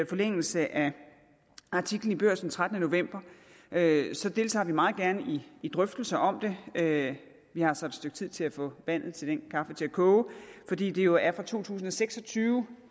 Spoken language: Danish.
forlængelse af artiklen i børsen den trettende november deltager vi meget gerne i drøftelser om det vi har så et stykke tid til at få vandet til den kaffe til at koge fordi det jo er fra to tusind og seks og tyve